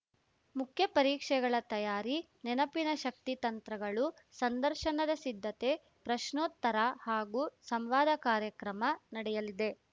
ಮುಖ್ಯ ಪರೀಕ್ಷೆಗಳ ತಯಾರಿ ನೆನಪಿನ ಶಕ್ತಿ ತಂತ್ರಗಳು ಸಂದರ್ಶನದ ಸಿದ್ಧತೆ ಪ್ರಶ್ನೋತ್ತರ ಹಾಗೂ ಸಂವಾದ ಕಾರ್ಯಕ್ರಮ ನಡೆಯಲಿದೆ